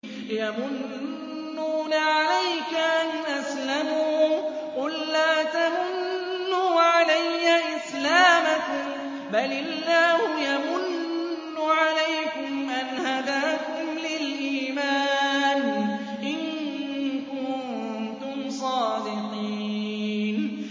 يَمُنُّونَ عَلَيْكَ أَنْ أَسْلَمُوا ۖ قُل لَّا تَمُنُّوا عَلَيَّ إِسْلَامَكُم ۖ بَلِ اللَّهُ يَمُنُّ عَلَيْكُمْ أَنْ هَدَاكُمْ لِلْإِيمَانِ إِن كُنتُمْ صَادِقِينَ